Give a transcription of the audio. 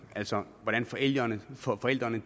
altså hvordan forældrene forældrene